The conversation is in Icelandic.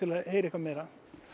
að heyra eitthvað meira